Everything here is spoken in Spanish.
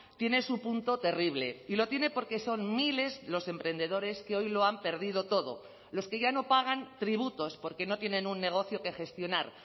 tiene su punto terrible y lo tiene porque son miles los emprendedores que hoy lo han perdido todo los que ya no pagan tributos porque no tienen un negocio que gestionar